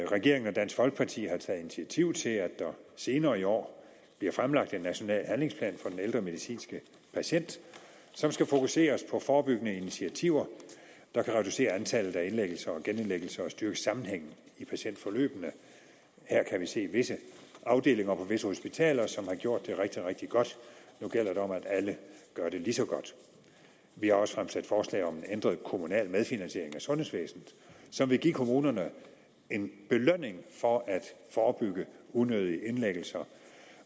regeringen og dansk folkeparti har taget initiativ til at der senere i år bliver fremlagt en national handlingsplan for den ældre medicinske patient som skal fokuseres på forebyggende initiativer der kan reducere antallet af indlæggelser og genindlæggelser og styrke sammenhængen i patientforløbene her kan vi se visse afdelinger på visse hospitaler som har gjort det rigtig rigtig godt nu gælder det om at alle gør det lige så godt vi har også fremsat forslag om en ændret kommunal medfinansiering af sundhedsvæsenet som vil give kommunerne en belønning for at forebygge unødige indlæggelser